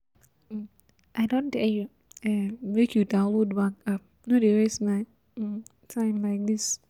um I don tell you um make you download bank app, no dey waste my um time like this